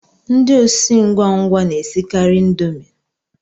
Ndị osi ngwa ngwa na-esikari indomie